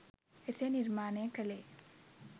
එසේ නිර්මාණය කලේ